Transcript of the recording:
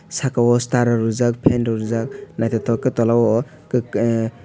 saka o star rok rijak fan rok rijak naithotok khe tola o kok ahh.